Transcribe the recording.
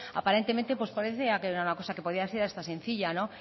aparentemente parecía una cosa que podía ser hasta sencilla no